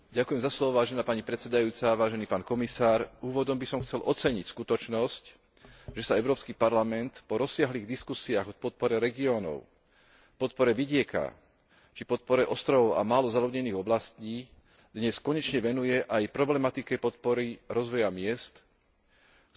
Úvodom by som chcel oceniť skutočnosť, že sa Európsky parlament po rozsiahlych diskusiách o podpore regiónov, podpore vidieka či podpore ostrovov a málo zaľudnených oblastí dnes konečne venuje aj problematike podpory rozvoja miest, ktoré v Európe predstavujú najväčší potenciál zamestnanosti,